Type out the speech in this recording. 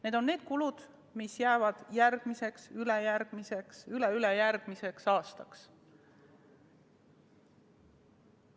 Need on need kulutused, mis jäävad ka järgmiseks, ülejärgmiseks ja üleülejärgmiseks aastaks.